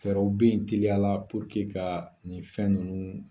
Fɛɛrɛw bɛ ye teliya la ka nin fɛn ninnu